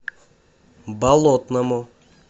болотному